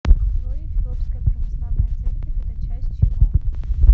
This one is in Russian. джой эфиопская православная церковь это часть чего